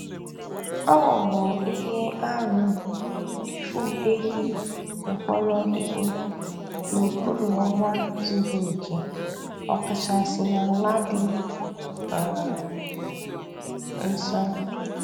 Ọ bụ ihe arụ ịfụ ehi mkpọrọhịhị n'okpuru ọnwa zuru oke, ọkachasị n'ala dị um nsọ.